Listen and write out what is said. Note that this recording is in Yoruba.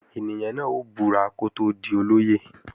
Ènìyàn náà ó búra kó tó di olóyè